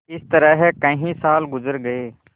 इस तरह कई साल गुजर गये